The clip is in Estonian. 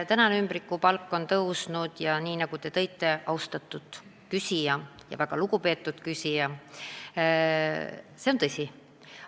See, et ümbrikupalkade osakaal on kasvanud, nagu te, austatud küsija, ütlesite, on tõsi.